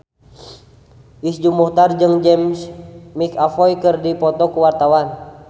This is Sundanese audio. Iszur Muchtar jeung James McAvoy keur dipoto ku wartawan